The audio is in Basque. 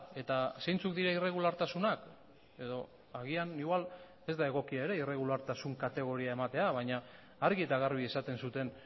eta zeintzuk dira irregulartasunak edo agian igual ez da egokia ere irregulartasun kategoria ematea baina argi eta garbi esaten zuten